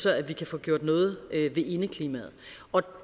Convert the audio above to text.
at vi kan få gjort noget ved indeklimaet